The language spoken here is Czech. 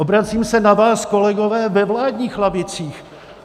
Obracím se na vás, kolegové, ve vládních lavicích.